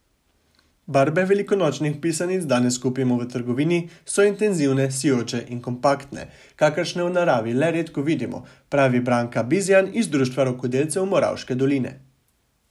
Barve velikonočnih pisanic danes kupimo v trgovini, so intenzivne, sijoče in kompaktne, kakršne v naravi le redko vidimo, pravi Branka Bizjan iz Društva rokodelcev Moravške doline.